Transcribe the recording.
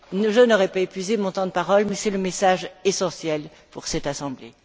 Je n'aurai pas épuisé mon temps de parole, mais c'est le message essentiel pour cette assemblée.